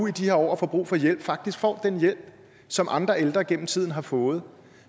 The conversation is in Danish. i de her år og får brug for hjælp faktisk får den hjælp som andre ældre gennem tiden har fået